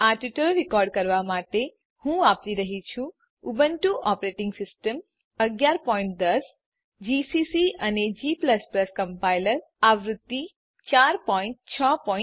આ tutorial record કરવાં માટે હું વાપરી રહ્યી છું ઉબુન્ટુ ઓપરેટીંગ સીસ્ટમ 1110 જીસીસી અને g કમ્પાઈલર આવૃત્તિ 461